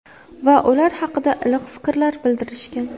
Va ular haqida iliq fikrlar bildirishgan.